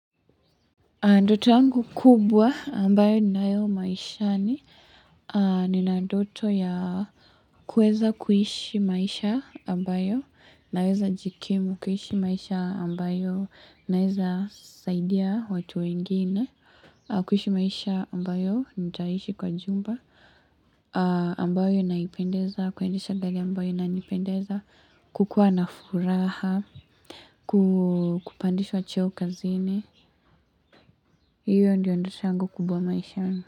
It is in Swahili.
Ndoto yangu kubwa ambayo ninayo maishani nina ndoto ya kueza kuishi maisha ambayo naweza jikimu kuhishi maisha ambayo naweza saidia watu wengine. Kuhishi maisha ambayo nitaishi kwa jumba ambayo inaipendeza kukua na furaha kupandishwa cheo kazini. Iyo ndiyo ndoto yangu kubwa maishani.